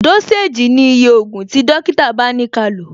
Dósèjì ni iye ògùn tí dókítà bá ni kálò